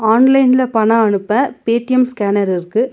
ஆன்லைன்ல பணொ அனுப்ப பே_டி_எம் ஸ்கேனர் இருக்கு.